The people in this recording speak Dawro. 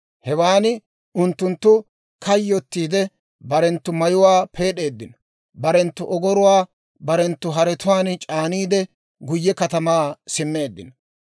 Hewaan unttunttu kayyotiide, barenttu mayuwaa peed'eeddino; barenttu ogoruwaa barenttu haretuwaan c'aaniide, guyye katamaa simmeeddino.